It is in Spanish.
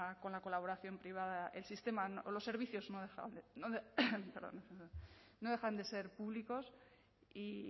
con la colaboración privada el sistema los servicios no dejan de ser públicos y